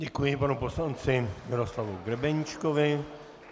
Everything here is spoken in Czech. Děkuji panu poslanci Miroslavu Grebeníčkovi.